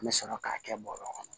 An bɛ sɔrɔ k'a kɛ bɔrɔ kɔnɔ